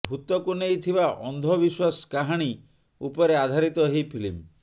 ଭୂତକୁ ନେଇ ଥିବା ଅନ୍ଧ ବିଶ୍ୱାସ କାହାଣୀ ଉପରେ ଆଧାରିତ ଏହି ଫିଲ୍ମ